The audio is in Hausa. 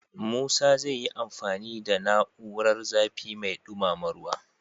Musa zai yi amfani da na'urar zafi mai dumama ruwa.